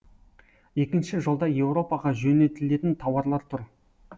екінші жолда еуропаға жөнелтілетін тауарлар тұр